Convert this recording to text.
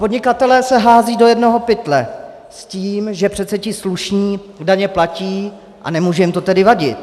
Podnikatelé se házejí do jednoho pytle s tím, že přece ti slušní daně platí, a nemůže jim to tedy vadit.